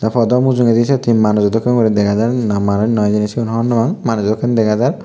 tey padow mujongedi syot he manujo dokken gori dega jaar na manuj noi hijeni sigun hobor nw pang manujo dokken dega jar.